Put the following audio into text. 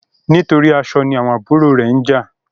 Nítorí aṣọ ní àwọn àbúrò rẹ njà